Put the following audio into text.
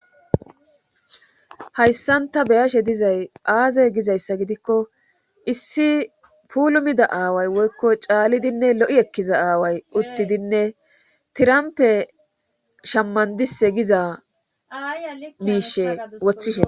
hayssanta beyashe dizay aaze gizayssa gidikko issi pulumida aaway woykko caalidinne lo7i ekkiza aaway uttidinne tirampe shammandise giza miishe woththishe